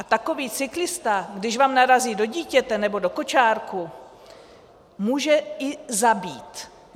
A takový cyklista, když vám narazí do dítěte nebo do kočárku, může i zabít.